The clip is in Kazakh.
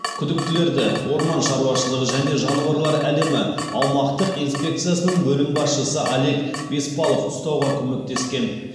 күдіктілерді орман шауашылығы және жануарлар әлемі аумақтық инспекциясының бөлім басшысы олег беспалов ұстауға көмектескен